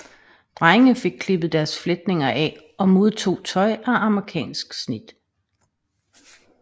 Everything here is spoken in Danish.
Drenge fik klippet deres fletninger af og modtog tøj af amerikansk snit